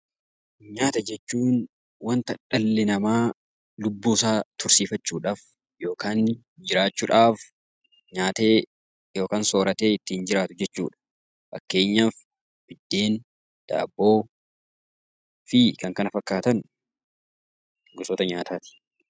Nyaata jechuun waanta dhalli namaa lubbuu isaa tursiifachuuf yookaan jiraachuudhaaf nyaatee yookaan soorratee ittiin jiraatu jechuudha. Fakkeenyaaf biddeen, daabboo kanneen kana fakkaatan